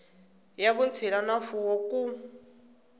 ya vutshila na mfuwo ku